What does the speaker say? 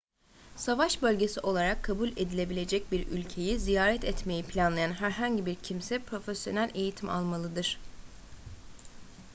savaş bölgesi olarak kabul edilebilecek bir ülkeyi ziyaret etmeyi planlayan herhangi bir kimse profesyonel eğitim almalıdır